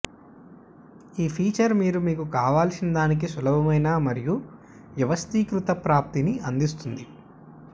ఈ ఫీచర్ మీరు మీకు కావలసినదానికి సులభమైన మరియు వ్యవస్థీకృత ప్రాప్తిని అందిస్తుంది